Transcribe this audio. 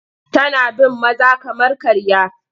Tana bin maza kamar karya.